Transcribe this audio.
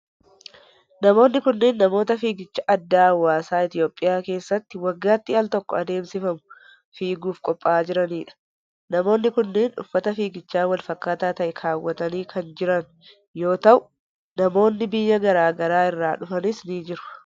Namoonni kunneen, namoota fiigicha addaa hawaasaa Itoophiyaa keessatti waggaatti al tokko adeemsifamu fiiguuf qopha'aa jiranii dha. Namoonni kunneen uffata fiigichaa walfakkaataa ta'e kaawwatanii kan jiran yoo ta'u, namoonni biyya garaa garaa irraa dhufanis ni jiru.